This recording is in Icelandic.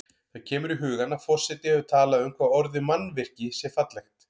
Það kemur í hugann að forseti hefur talað um hvað orðið mannvirki sé fallegt.